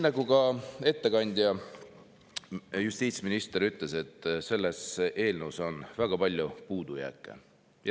Ettekandja justiitsminister ütles, et selles eelnõus on väga palju puudujääke.